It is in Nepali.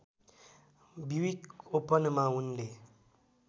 ब्युइक ओपनमा उनले